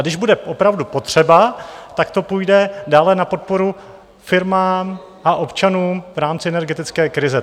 A když bude opravdu potřeba, tak to půjde dále na podporu firmám a občanům v rámci energetické krize.